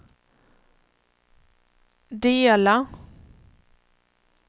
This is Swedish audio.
dela